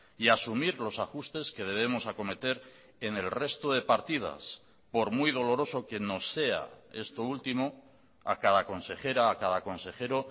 y asumir los ajustes que debemos acometer en el resto de partidas por muy doloroso que nos sea esto último a cada consejera a cada consejero